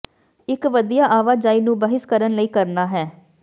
ਇਕ ਵਧੀਆ ਆਵਾਜਾਈ ਨੂੰ ਬਹਿਸ ਕਰਨ ਲਈ ਕਰਨਾ ਹੈ